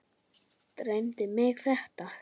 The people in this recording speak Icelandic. Dreymdi mig þetta?